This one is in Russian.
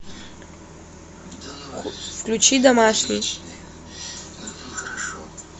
включи домашний